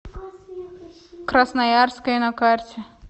красноярское на карте